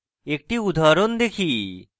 একটি উদাহরণ দেখি